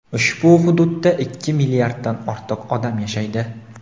Ushbu hududda ikki milliarddan ortiq odam yashaydi.